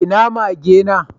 Ina mage na?